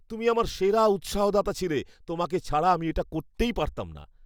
তুমি আমার সেরা উৎসাহদাতা ছিলে! তোমাকে ছাড়া আমি এটা করতেই পারতাম না।